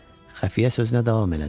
Xəfiyə sözünə davam elədi.